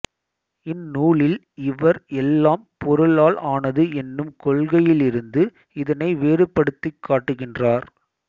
இந்நூலில் இவர் எல்லாம் பொருளால் ஆனது என்னும் கொள்கையிலிருந்து இதனை வேறுபடுத்திக்காட்டுகின்றார்